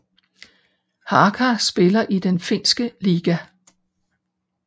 Haka spiller i den finske liga